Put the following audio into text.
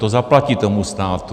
To zaplatí tomu státu.